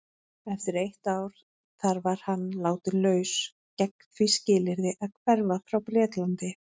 Eftir eitt ár þar var hann látinn laus gegn því skilyrði að hverfa frá Bretlandi.